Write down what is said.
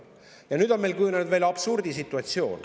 Ja nüüd on meil kujunenud absurdisituatsioon.